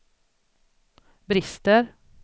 brister